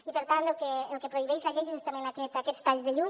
i per tant el que prohibeix la llei són justament aquests talls de llum